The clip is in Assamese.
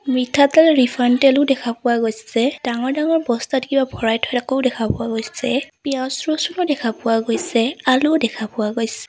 মিঠাতেল ৰিফাইন তেলো দেখা পোৱা গৈছে ডাঙৰ ডাঙৰ বস্তাত কিবা ভৰাই থোৱা কো দেখা পোৱা গৈছে পিয়াজ লচোনো দেখা পোৱা গৈছে আলুও দেখা পোৱা গৈছে।